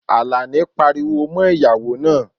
Alani pariwo mo ìyá naa